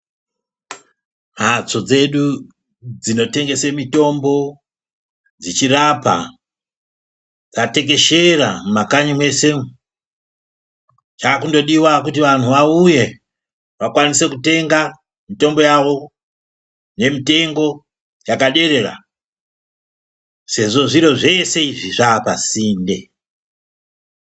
Mhatso dzedu dzino tengese mitombo dzichi rapa dza tekeshera mu makanyi mweshe mwo zvakungodiwa kuti vanhu vauye vakwanise kutenga mutombo yavo ne mutengo yakaderera sezvo zviro zvese izvi zvapa sinde.